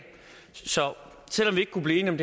så selv om vi ikke kunne blive enige om